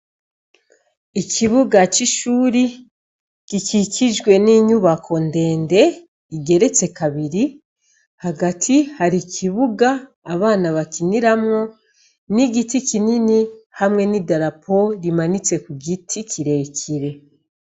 Ikibuga cishure gikikijwe ninyubako ndende igeretse kabiri hagati hari ikibuga abana bakiniramwo n'igiti kinini hamwe n'idarapo imanitse kugiti kirekire.